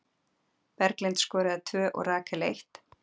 Berglind skoraði tvö og Rakel eitt.